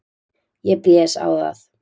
Ég blés á það.